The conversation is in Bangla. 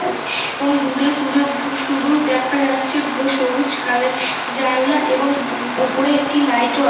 আছে এবং দূরে দূরে বু শুধু দেখা যাচ্ছে বু সবুজ কালের জানলা এবং উপরে একটি লাইট ও আ--